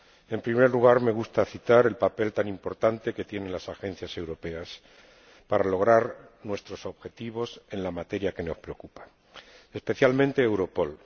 En primer lugar, me gustaría citar el papel tan importante que tienen las agencias europeas para lograr nuestros objetivos en la materia que nos preocupa, especialmente Europol.